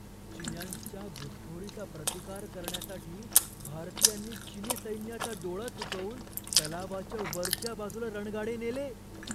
चिन्यांच्या घुसखोरीचा प्रतिकार करण्यासाठी भारतीयांनी चिनी सैन्याचा डोळा चुकवून तलावाच्या वरच्या बाजूला रणगाडे नेले.